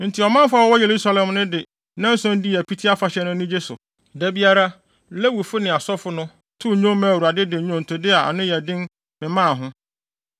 Enti ɔmanfo a wɔwɔ Yerusalem no de nnanson dii Apiti Afahyɛ no anigye so. Da biara, Lewifo ne asɔfo no too nnwom maa Awurade de nnwontode a ano yɛ den memmaa ho.